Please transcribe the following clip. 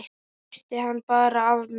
Hristi hann bara af mér.